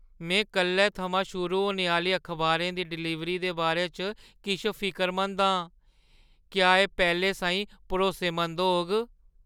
में कल्लै थमां शुरू होने आह्‌ली अखबारें दी डलीवरी दे बारे च किश फिकरमंद आं। क्या एह् पैह्‌लें साहीं भरोसेमंद होग?